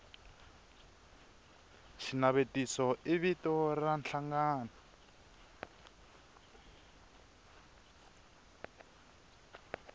xinavetiso i vito ra nhlangano